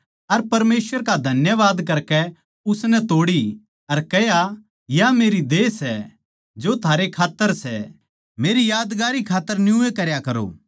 अर परमेसवर का धन्यवाद करकै उसनै तोड़ी अर कह्या या मेरी देह सै जो थारै खात्तर सै मेरी यादगारी खात्तर न्यूए करया करो